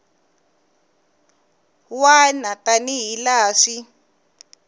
wana tani hi laha swi